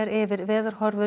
yfir